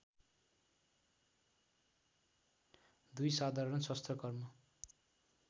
२ साधारण शस्त्रकर्म